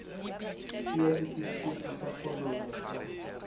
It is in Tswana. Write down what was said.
fiwa setefikeiti sa kgololo sa